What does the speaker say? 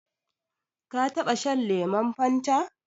Ka taɓa shan lemon Fanta?